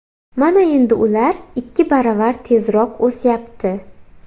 Mana endi ular ikki baravar tezroq o‘syapti”.